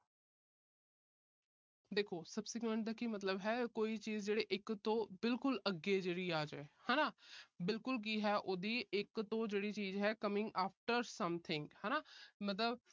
ਦੇਖੋ subsequent ਦਾ ਕੀ ਮਤਲਬ ਹੈ। ਕੋਈ ਚੀਜ ਜਿਹੜੀ ਇੱਕ ਤੋਂ ਬਿਲਕੁਲ ਅੱਗੇ ਜਿਹੜੀ ਆ ਜਾਏ ਹਨਾ। ਬਿਲਕੁਲ ਕੀ ਹੈ ਉਹਦੀ ਇੱਕ ਤੋਂ ਜਿਹੜੀ ਚੀਜ ਹੈ coming after something ਹਨਾ ਮਤਲਬ